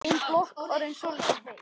Ein blokk orðin soldið heit.